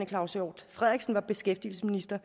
claus hjort frederiksen var beskæftigelsesminister